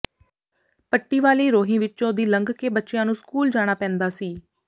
ਪੱਟੀ ਵਾਲੀ ਰੋਹੀ ਵਿੱਚੋਂ ਦੀ ਲੰਘ ਕੇ ਬੱਚਿਆਂ ਨੂੰ ਸਕੂਲ ਜਾਣਾ ਪੈਂਦਾ ਸੀ